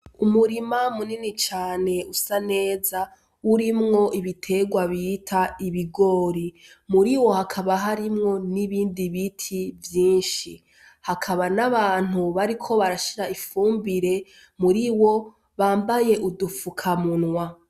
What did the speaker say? Umurima munini cane usa neza urimwo ibiterwa bita ibigori muri wo hakaba harimwo n'ibindi biti vyinshi hakaba n'abantu bariko barashira ifumbire muri wo bambaye udufuka munwa.